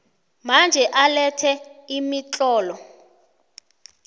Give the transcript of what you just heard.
manje alethe imitlolo